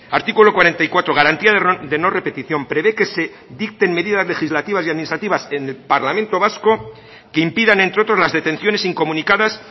artículo cuarenta y cuatro garantía de no repetición prevé que se dicten medidas legislativas y administrativas en el parlamento vasco que impidan entre otros las detenciones incomunicadas